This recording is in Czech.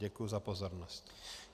Děkuji za pozornost.